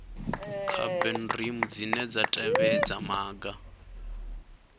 cbnrm dzine dza tevhedza maga